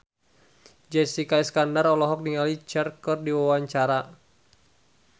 Jessica Iskandar olohok ningali Cher keur diwawancara